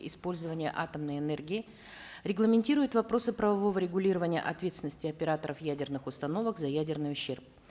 использования атомной энергии регламентирует вопросы правового регулирования ответственности операторов ядерных установок за ядерный ущерб